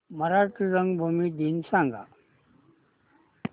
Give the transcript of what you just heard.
मराठी रंगभूमी दिन सांगा